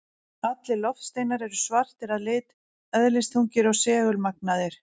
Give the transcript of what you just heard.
Allir loftsteinar eru svartir að lit, eðlisþungir og segulmagnaðir.